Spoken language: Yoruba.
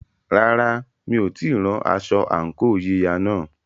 Rárá, mi ò tíì rán aṣọ àǹkóò yíya náà.